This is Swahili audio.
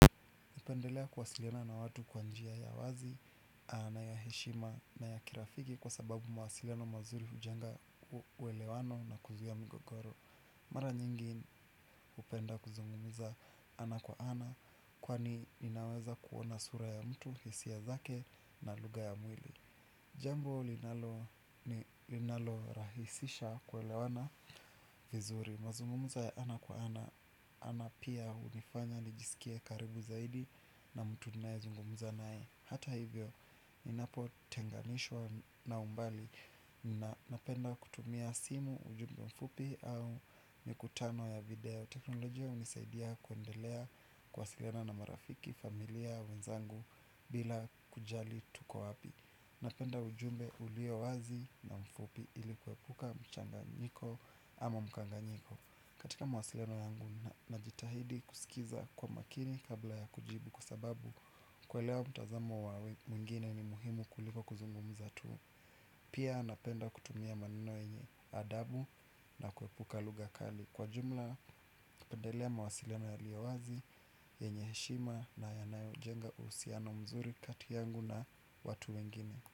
Napendelea kwasiliana na watu kwanjia ya wazi na ya heshima na ya kirafiki kwa sababu mawasiliano mazuri ujenga uwelewano na kuzia mgogoro. Mara nyingi upenda kuzungumuza ana kwa ana kwani inaweza kuona sura ya mtu, hisia zake na luga ya mwili. Jambo linalo rahisisha kwelewana vizuri. Mazungumuzo ya ana kwa ana. Ana pia unifanya nijisikie karibu zaidi. Na mtu ninae zungumuza nae. Hata hivyo ninapo tenganishwa na umbali na napenda kutumia simu. Ujumbe mfupi au nikutano ya video. Teknolojia unisaidia kuendelea kwasiliana na marafiki, familia, wenzangu. Bila kujali tuko wapi. Napenda ujumbe ulio wazi na mfupi ili kwepuka mchanganyiko ama mkanganyiko katika mawasileno yangu na jitahidi kusikiza kwa makini kabla ya kujibu kwa sababu kuelewa mtazamo wa mwingine ni muhimu kuliko kuzungumza tu. Pia napenda kutumia maneno yenye adabu na kuepuka lughakali. Kwa jumla, napendelea mawasiliano ya liyowazi yenye heshima na yanayo jenga uhusiano mzuri kati yangu na watu wengine.